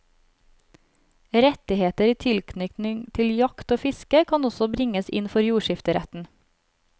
Rettigheter i tilknytning til jakt og fiske, kan også bringes inn for jordskifteretten.